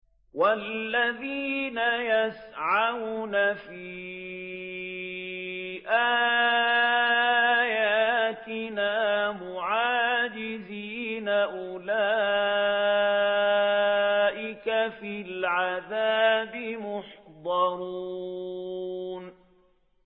وَالَّذِينَ يَسْعَوْنَ فِي آيَاتِنَا مُعَاجِزِينَ أُولَٰئِكَ فِي الْعَذَابِ مُحْضَرُونَ